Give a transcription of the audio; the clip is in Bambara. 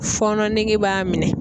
Fɔɔnɔ nege b'a minɛ.